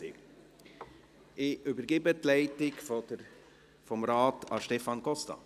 Ich übergebe die Ratsleitung an Stefan Costa.